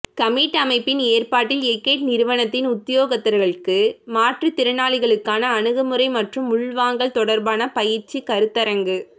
commit அமைப்பின் ஏற்பாட்டில் எகெட் நிறுவனத்தின் உத்தியோகத்தர்களுக்கு மாற்றுத்திறனாளிகளுக்கான அணுமுறை மற்றும் உள்வாங்கல் தொடர்பான பயிற்சிக் கருத்தரங்கு